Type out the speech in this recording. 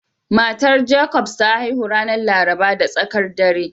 Matar Jacobs ta haihu ranar Laraba da tsakar rana